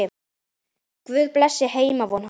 Guð blessi heimvon hans.